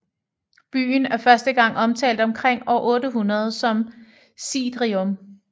Byen er første gang omtalt omkring år 800 som Sidrium